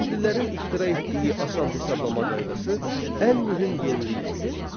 Hindlilərin ixtira etdiyi asan hesablama qaydası ən mühüm yenilik idi.